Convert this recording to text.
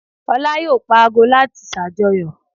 Olá yóò pa àgbò láti ṣàjọyọ̀